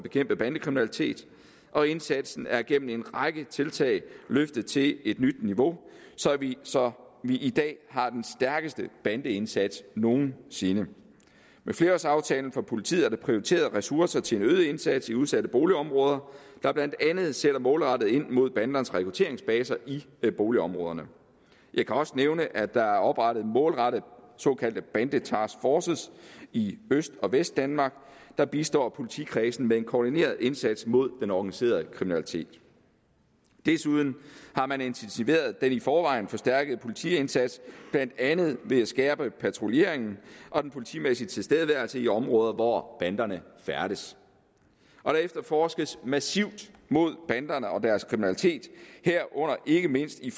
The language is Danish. bekæmpe bandekriminalitet og indsatsen er gennem en række tiltag løftet til et nyt niveau så vi i dag har den stærkeste bandeindsats nogensinde med flerårsaftalen for politiet er der prioriteret ressourcer til en øget indsats i udsatte boligområder der blandt andet sætter målrettet ind mod bandernes rekrutteringsbaser i boligområderne jeg kan også nævne at der er oprettet målrettede såkaldte bandetaskforces i øst og vestdanmark der bistår politikredsene med en koordineret indsats mod den organiserede kriminalitet desuden har man intensiveret den i forvejen forstærkede politiindsats blandt andet ved at skærpe patruljeringen og den politimæssige tilstedeværelse i områder hvor banderne færdes der efterforskes massivt mod banderne og deres kriminalitet herunder ikke mindst i